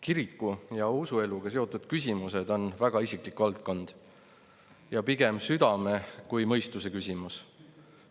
Kiriku ja usueluga seotud küsimused on väga isiklik valdkond ja pigem südame kui mõistuse küsimus.